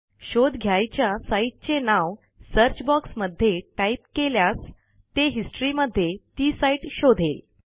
शोध घ्यायच्या साईटचे नाव सर्च बॉक्समध्ये टाईप केल्यास ते हिस्टरी मध्ये ती साईट शोधेल